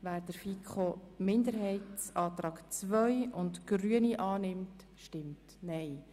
Wer den Antrag der FiKo-Minderheit II und den Antrag der Grünen annimmt, stimmt Nein.